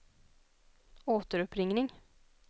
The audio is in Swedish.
återuppringning